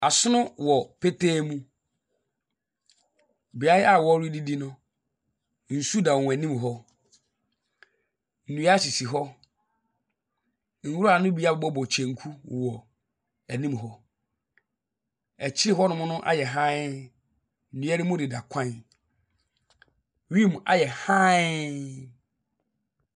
Asono wɔ petee mu. Beaeɛ a wɔredidi no, nsu dan wɔn anim hɔ. Nnua sisi hɔ. Nwura no abobɔ kyenku wɔ anim hɔ. Akyi hɔnom no ayɛ hann. Nnua no mu deda kwan. Wim ayɛ hann.